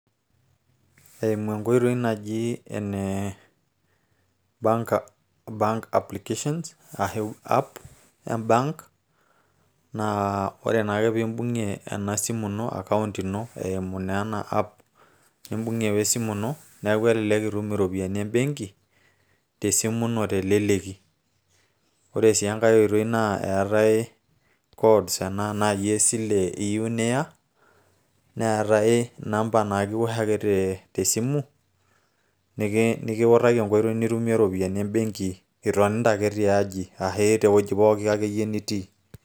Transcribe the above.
eimu enkoitoi naji ene bank applications ashu app em bank naa ore naake piimbung'ie ena simu ino account ino eimu naa ena app nimbung'e we simu ino neeku elelek itum iropiyiani embenki tesimu ino teleleki ore sii enkay oitoi naa eetay codes enaa naaji esile iyieu niya neetay inamba naa kiwosh ake te simu nikiutaki enkoitoi nitumie iropiyiani embenki itonita ake tiaji ashi tewueji akeyie pookin nitii.